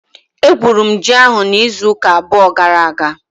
Egwuru m ji ahụ n'izu ụka abụọ gara aga.